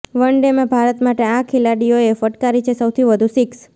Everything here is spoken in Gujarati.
વનડેમાં ભારત માટે આ ખેલાડીઓએ ફટકારી છે સૌથી વધુ સિક્સ